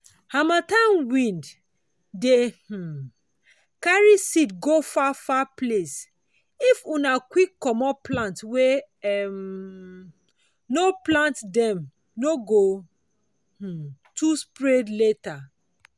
harmattan wind dey um carry seed go far far place—if una quick commot plant wey um una no plant them no go um too spread later.